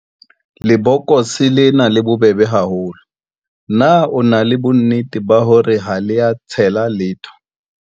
Lebokose lena le bobebe haholo, na o na le bonnete ba hore ha le a tshela letho.